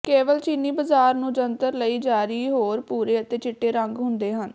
ਕੇਵਲ ਚੀਨੀ ਬਾਜ਼ਾਰ ਨੂੰ ਜੰਤਰ ਲਈ ਜਾਰੀ ਹੋਰ ਭੂਰੇ ਅਤੇ ਚਿੱਟੇ ਰੰਗ ਹੁੰਦੇ ਹਨ